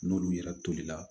N'olu yɛrɛ tolila